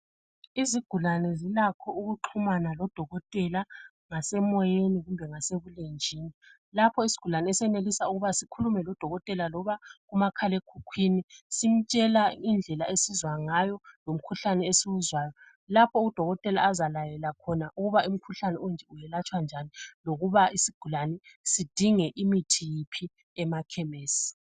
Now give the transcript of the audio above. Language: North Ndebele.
Izigulane zilakho ukuxhumana lodokotela ngasemoyeni kumbe ngasebulenjini, lapho isigulane esenelisa ukuba sikhulume lodokotela loba kumakhalekhwini simtshela indlela esizwa ngayo ngomkhuhlane esiwuzwayo, lapho udokotela azalayela khona ukuba umkhuhlane onje welatshwa njani lokuba isigulane sidinge imithi iphi emakhemesi.